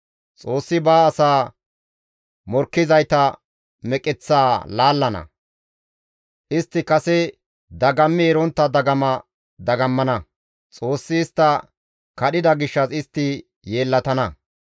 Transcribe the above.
Xoossi ba asaa morkkizayta meqeththaa laallana; istti kase dagammi erontta dagama dagammana. Xoossi istta kadhida gishshas istti yeellatana;